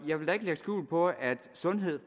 jeg vil ikke lægge skjul på at sundhed